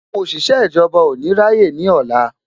Àwọn òṣìṣẹ́ ìjọba ò ní rá yé ní ọ̀la